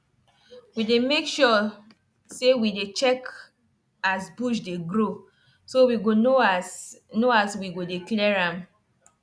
people wey sabi soil for area don for area don benefit from using plant to cover ground based on wetin people wey there sabi.